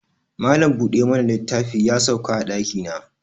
Malam bude mana littafi ya sauka a daki na